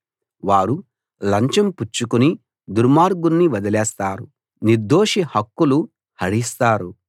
వారు లంచం పుచ్చుకుని దుర్మార్గుణ్ణి వదిలేస్తారు నిర్దోషి హక్కులు హరిస్తారు